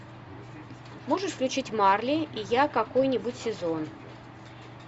можешь включить марли и я какой нибудь сезон